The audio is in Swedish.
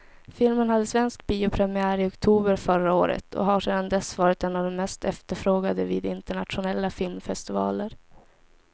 Filmen hade svensk biopremiär i oktober förra året och har sedan dess varit en av de mest efterfrågade vid internationella filmfestivaler.